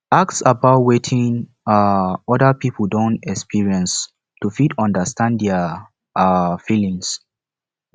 ask about wetin um oda pipo don experience to fit understand their um feeling